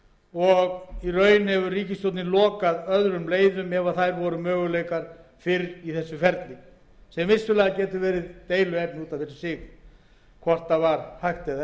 og í raun hefur ríkisstjórnin lokað öðrum leiðum ef þær voru mögulegar fyrr í ferlinu sem vissulega getur verið deiluefni út af fyrir